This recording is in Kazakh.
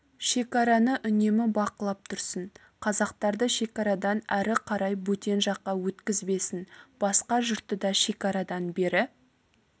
шекараны үнемі бақылап тұрсын қазақтарды шекарадан әрі қарай бөтен жаққа өткізбесін басқа жұртты да шекарадан бері